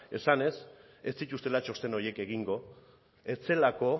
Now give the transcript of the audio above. esanez ez dituztela txosten horiek egingo ez zelako